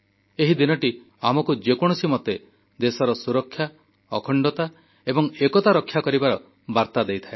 ଏହି ଦିନଟି ଆମକୁ ଯେକୌଣସି ମତେ ଦେଶର ସୁରକ୍ଷା ଅଖଣ୍ଡତା ଏବଂ ଏକତା ରକ୍ଷା କରିବାର ବାର୍ତ୍ତା ଦେଇଥାଏ